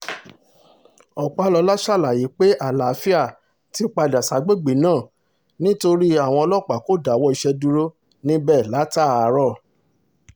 ọpàlọ́la ṣàlàyé pé àlàáfíà ti àlàáfíà ti padà ságbègbè náà nítorí àwọn ọlọ́pàá kò dáwọ́ iṣẹ́ dúró níbẹ̀ látàárọ̀